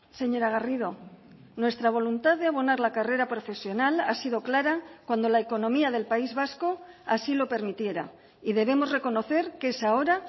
señora garrido nuestra voluntad de abonar la carrera profesional ha sido clara cuando la economía del país vasco así lo permitiera y debemos reconocer que es ahora